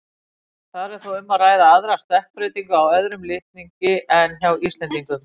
Þar er þó um að ræða aðra stökkbreytingu á öðrum litningi en hjá Íslendingum.